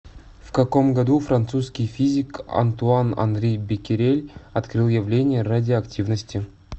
в каком году французский физик антуан анри беккерель открыл явление радиоактивности